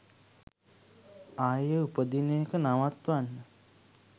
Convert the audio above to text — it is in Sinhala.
ආයේ උපදින එක නවත්වන්න